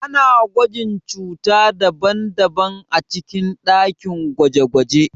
Ana gwajin cuta daban-daban a cikin dakin gwaje-gwaje.